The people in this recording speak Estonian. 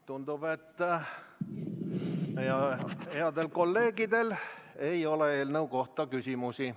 Tundub, et headel kolleegidel ei ole eelnõu kohta küsimusi.